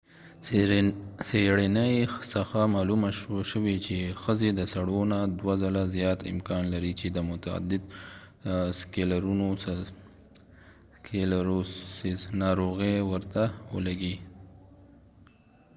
څېړنې څخه معلومه شوې چې ښځې د سړو نه دوه ځله زیات امکان لري چې د متعدد سکلیروسز ناروغي ورته ولګي